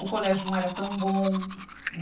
O colégio não era tão bom.